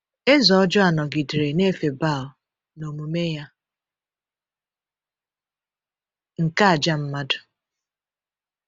Eze ọjọọ a nọgidere na-efe Baal, na omume ya nke àjà mmadụ.